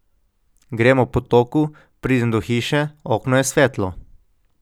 Grem ob potoku, pridem do hiše, okno je svetlo ...